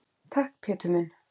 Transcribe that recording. Takk, Pétur minn.